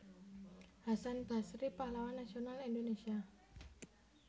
Hasan Basry Pahlawan Nasional Indonesia